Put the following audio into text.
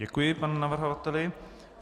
Děkuji panu navrhovateli.